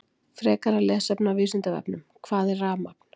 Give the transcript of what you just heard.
Frekara lesefni á Vísindavefnum: Hvað er rafmagn?